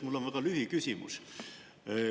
Mul on lühiküsimus.